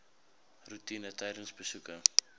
roetine tydens besoeke